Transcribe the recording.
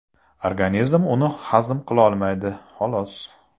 Organizm uni hazm qilolmaydi, xolos.